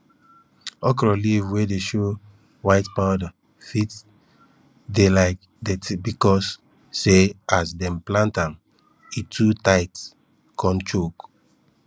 okro leaf wey dey show white powder fit dey like dirty becos say as dem plant am e too tight con choke